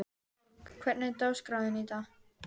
Borg, hvernig er dagskráin í dag?